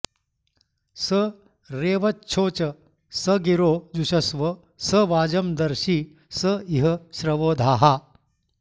स रेवच्छोच स गिरो जुषस्व स वाजं दर्षि स इह श्रवो धाः